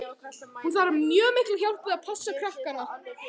Hún þarf mjög mikla hjálp við að passa krakkana.